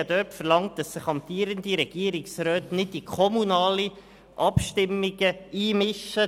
Ich habe verlangt, dass sich amtierende Regierungsräte nicht in kommunale Abstimmungen einmischen.